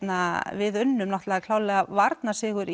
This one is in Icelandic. við unnum klárlega varnarsigur